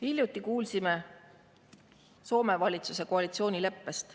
Hiljuti kuulsime Soome valitsuse koalitsioonileppest.